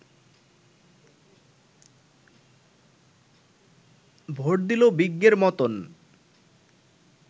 vote দিল বিজ্ঞের মতন